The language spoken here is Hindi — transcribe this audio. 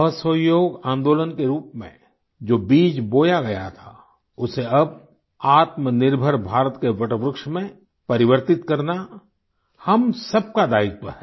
असहयोग आंदोलन के रूप में जो बीज बोया गया थाउसे अब आत्मनिर्भर भारत के वट वृक्ष में परिवर्तित करना हम सब का दायित्व है